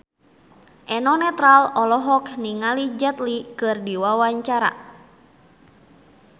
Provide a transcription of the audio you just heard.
Eno Netral olohok ningali Jet Li keur diwawancara